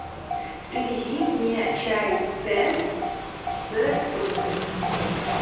привези мне чай тесс с фруктами